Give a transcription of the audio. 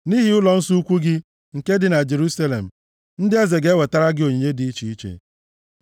Nʼihi ụlọnsọ ukwu gị nke dị na Jerusalem, ndị eze ga-ewetara gị onyinye dị iche iche.